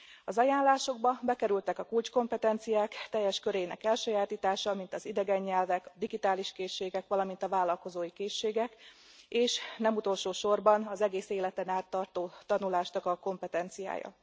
Az ajánlásokba bekerültek a kulcskompetenciák teljes körének elsajátítása, mint az idegen nyelvek, digitális készségek, valamint a vállalkozói készségek, és nem utolsó sorban az egész életen át tartó tanulásnak a kompetenciája.